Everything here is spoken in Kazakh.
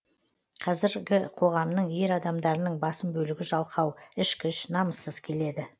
қазіргі қоғамның ер адамдарының басым бөлігі жалқау ішкіш намыссыз келеді